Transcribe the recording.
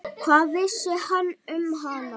Hvað vissi hann um hana?